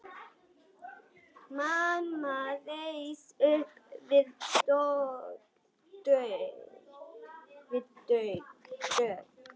Mamma reis upp við dogg.